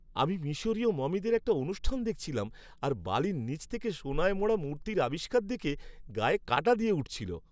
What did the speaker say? আমি মিশরীয় মমিদের একটা অনুষ্ঠান দেখছিলাম আর বালির নিচ থেকে সোনায় মোড়া মূর্তির আবিষ্কার দেখে গায়ে কাঁটা দিয়ে উঠছিল।